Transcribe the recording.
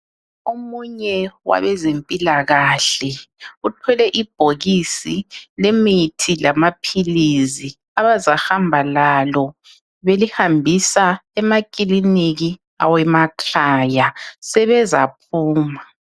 Omunye wabezempila kahle uthwele ibhokisi lemithi lamaphilizi abazahamba lalo belihambisa emakiliniki awemakhaya sebezaphuma